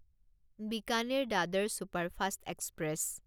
Bikaner Dadar superfast express